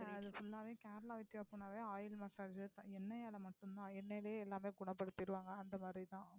இல்லை அது full ஆவே கேரளா oil massage எண்ணெய்யால மட்டும்தான் எண்ணெயிலேயே எல்லாமே குணப்படுத்திடுவாங்க அந்த மாதிரிதான்